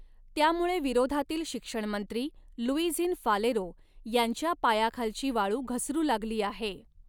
त्यामुळे विरोधातील शिक्षणमंत्री लुइझिन फालेरो यांच्या पायाखालची वाळू घसरू लागली आहे.